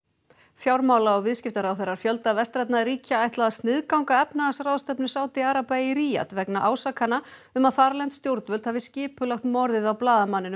fjármála og viðskiptaráðherrar fjölda vestrænna ríkja ætla að sniðganga efnahagsráðstefnu Sádi araba í Ríad vegna ásakana um að þarlend stjórnvöld hafi skipulagt morðið á blaðamanninum